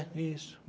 É, isso.